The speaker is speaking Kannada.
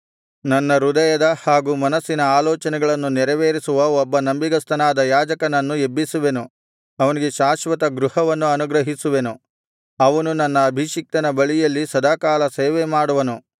ನನ್ನ ಹೃದಯದ ಹಾಗೂ ಮನಸ್ಸಿನ ಆಲೋಚನೆಗಳನ್ನು ನೆರವೇರಿಸುವ ಒಬ್ಬ ನಂಬಿಗಸ್ತನಾದ ಯಾಜಕನನ್ನು ಎಬ್ಬಿಸುವೆನು ಅವನಿಗೆ ಶಾಶ್ವತ ಗೃಹವನ್ನು ಅನುಗ್ರಹಿಸುವೆನು ಅವನು ನನ್ನ ಅಭಿಷಿಕ್ತನ ಬಳಿಯಲ್ಲಿ ಸದಾಕಾಲ ಸೇವೆಮಾಡುವನು